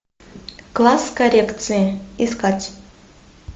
класс коррекции искать